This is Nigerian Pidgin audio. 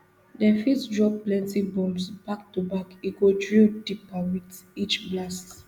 dem fit drop plenty bombs back to back e go drill deeper wit each blast